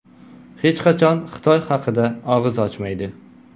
Hech qachon Xitoy haqida og‘iz ochmaydi.